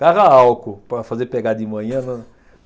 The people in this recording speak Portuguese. Carro a álcool para fazer pegar de manhã.